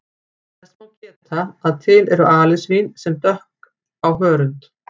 Þess má geta að til eru alisvín sem dökk á hörund.